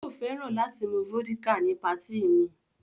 Yóò fẹ́ràn láti mu vódíkà ní patí mi.